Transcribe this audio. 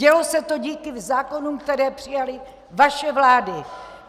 Dělo se to díky zákonům, které přijaly vaše vlády!